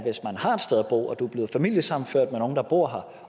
bo og er blevet familiesammenført med nogle der bor